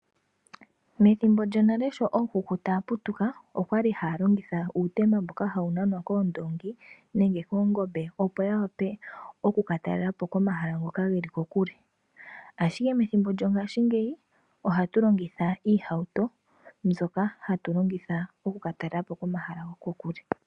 Methimbo lyonale sho ookuku taya putuka okwali haya longitha uutemba mboka hawu nanwa koondoongi nenge koongombe opo yawape okuka talelapo komahala ngoka geli kokule. Ashike methimbo lyongashingeyi ohatu longitha iihauto, mbyoka hatu longitha oku katalelapo komahala gokokule.